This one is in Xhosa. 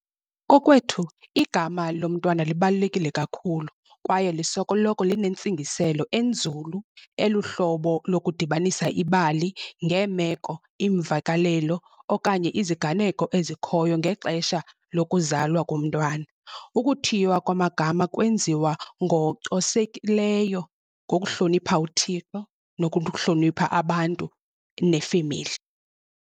Kokwethu igama lomntwana libalulekile kakhulu kwaye linentsingiselo enzulu eluhlobo lokudibanisa ibali ngeemeko, iimvakalelo okanye iziganeko ezikhoyo ngexesha lokuzalwa komntwana. Ukuthiywa kwamagama kwenziwa ngocosekileyo ngokuhlonipha uThixo nokuhlonipha abantu nefemeli